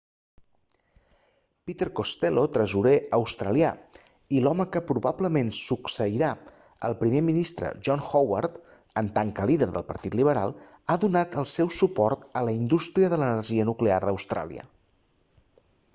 peter costello tresorer australià i l'home que probablement succeirà el primer ministre john howard en tant que líder del partit liberal ha donat el seu suport a la indústria de l'energia nuclear a austràlia